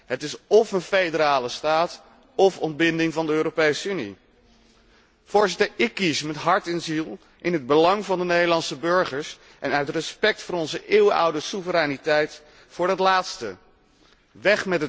Het is óf een federale staat óf ontbinding van de Europese Unie. Voorzitter, ik kies met hart en ziel, in het belang van de Nederlandse burgers en uit respect voor onze eeuwenoude soevereiniteit, voor de laatste optie.